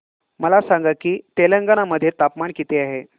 मला सांगा की तेलंगाणा मध्ये तापमान किती आहे